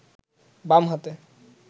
বাম হাতে